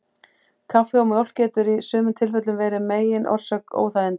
Kaffi og mjólk getur í sumum tilfellum verið megin orsök óþægindanna.